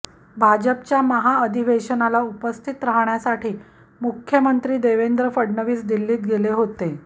भाजपच्या महाअधिवेशनाला उपस्थित राहण्यासाठी मुख्यमंत्री देवेंद्र फडणवीस दिल्लीत गेले होते